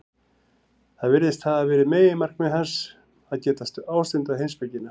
Það virðist hafa verið meginmarkmið hans, að geta ástundað heimspekina.